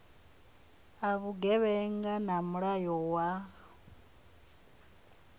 a vhugevhenga na mulayo wa